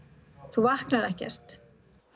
þú vaknar ekkert